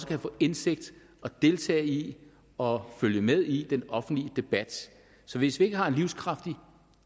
kan få indsigt i og deltage i og følge med i den offentlige debat så hvis vi ikke har en livskraftig